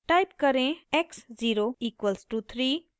type करें x 0 equal to 3